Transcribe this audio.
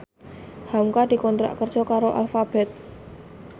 hamka dikontrak kerja karo Alphabet